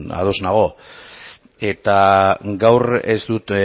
ados nago eta gaur ez dut